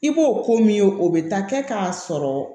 I b'o ko min ye o bɛ taa kɛ k'a sɔrɔ